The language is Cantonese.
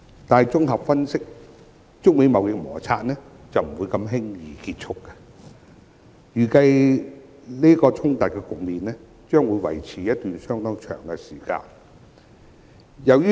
但綜合分析，中美貿易摩擦不會如此輕易結束，預計衝突局面將會維持一段相當長的時間。